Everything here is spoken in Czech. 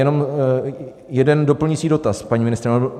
Jenom jeden doplňující dotaz, paní ministryně.